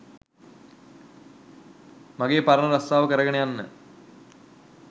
මගේ පරණ රස්සාව කරගෙන යන්න